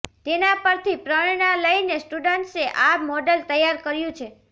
તેના પરથી પ્રરણા લઇને સ્ટુડન્ટ્સે આ મોડલ તૈયાર કર્યું છે